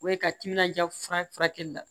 O ye ka timinan diya fura furakɛli la